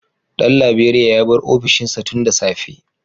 Dan Laberiya ya bar ofishinsa tun da safe